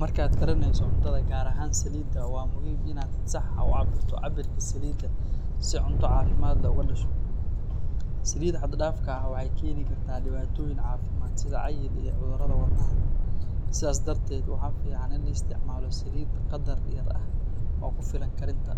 Markaad karineyso cuntada, gaar ahaan saliidda, waa muhiim inaad si sax ah u cabirto cabirka saliidda si cunto caafimaad leh uga dhasho. Saliidda xad-dhaafka ah waxay keeni kartaa dhibaatooyin caafimaad sida cayil iyo cudurrada wadnaha. Sidaas darteed, waxaa fiican in la isticmaalo saliid qadar yar ah oo ku filan karinta.